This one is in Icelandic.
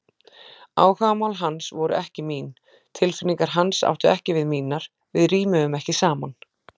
Áhugamál hans voru ekki mín, tilfinningar hans áttu ekki við mínar, við rímuðum ekki saman.